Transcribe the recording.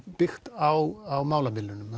byggt á málamiðlunum